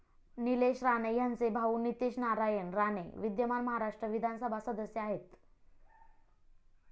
निलेश राणे ह्यांचे भाऊ नितेश नारायण राणे विद्यमान महाराष्ट्र विधानसभा सदस्य आहेत.